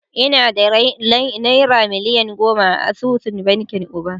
Ina da naira miliyan goma a asusun bankin Uba